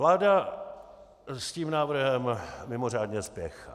Vláda s tím návrhem mimořádně spěchá.